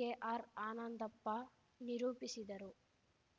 K R Anandappa ನಿರೂಪಿಸಿದರು